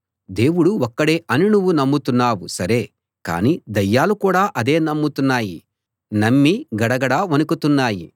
దేవుడు ఒక్కడే అని నువ్వు నమ్ముతున్నావు సరే కానీ దయ్యాలు కూడా అదే నమ్ముతున్నాయి నమ్మి గడగడా వణుకుతున్నాయి